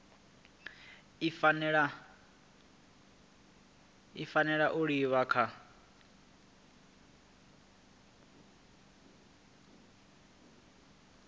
i fanela u livha kha